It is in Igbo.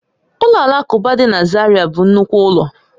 Ụlọ alakụba dị na Zaira bụ nnukwu ụlọ